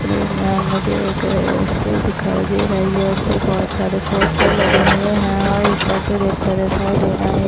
मे म अ मुझे एक अ स्टेज दिखाई दे रही है उसपे बहुत सारे पोस्टर लगे हुए है और एक चर्च जैसा दिखाई दे रहा है।